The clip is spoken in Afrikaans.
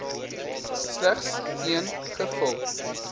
slegs een gevul